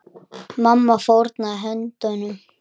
Mamma fórnaði höndum.